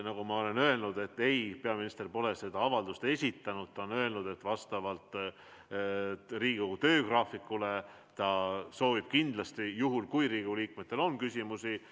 Nagu ma olen öelnud, peaminister pole seda avaldust esitanud, ta on öelnud, et vastavalt Riigikogu töögraafikule ta soovib kindlasti tulla, juhul kui Riigikogu liikmetel on küsimusi.